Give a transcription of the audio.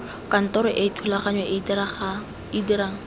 kantoro e thulaganyo e dirang